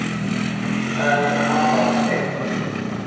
En hann var einn.